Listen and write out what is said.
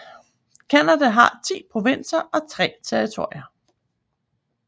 Canada har 10 provinser og 3 territorier